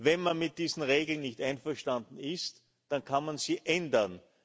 Wenn man mit diesen Regeln nicht einverstanden ist, dann kann man sie ändern.